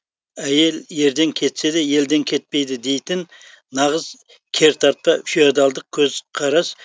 әйел ерден кетсе де елден кетпейді дейтін нағыз кертартпа феодалдық көзқарас